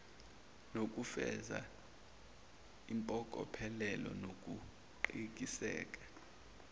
nokufeza impokophelelo nokuqiniseka